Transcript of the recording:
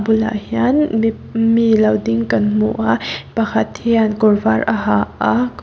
bulah hian mi mi lo ding kan hmu a pakhat hian kawr var a ha a--